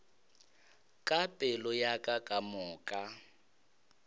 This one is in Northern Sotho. ka pelo ya ka kamoka